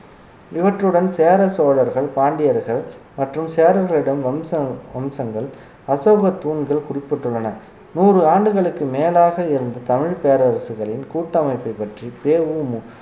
இவற்றுடன் சேர சோழர்கள் பாண்டியர்கள் மற்றும் சேரர்களிடம் வம்சம் வம்சங்கள் அசோக தூண்கள் குறிப்பிட்டுள்ளன நூறு ஆண்டுகளுக்கு மேலாக இருந்த தமிழ் பேரரசுகளின் கூட்டமைப்பைப் பற்றி பெ உ மு